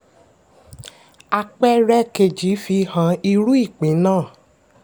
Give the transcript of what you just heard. àpẹẹrẹ kejì fi hàn irú ìpín náà.